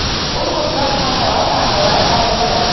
U ko‘plab xalqaro tanlovlar g‘olibidir.